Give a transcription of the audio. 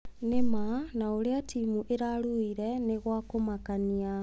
Nĩ ma, na ũrĩa timu ĩrarũire nĩ gwa kũmakania.